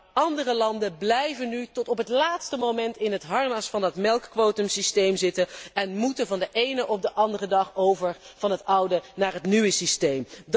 Maar andere landen blijven nu tot op het laatste moment in het harnas van dat melkquotumsysteem zitten en moeten van de ene op de andere dag over van het oude naar het nieuwe systeem.